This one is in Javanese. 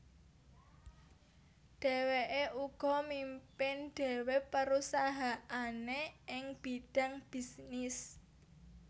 Dhèwèké uga mimpin dhéwé perusahaané ing bidang bisnis